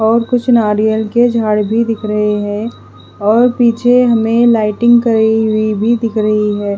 और कुछ नारियल के झाड़ भी दिख रहे है और पीछे हमें लाइटिंग करी हुई भी दिख रही है।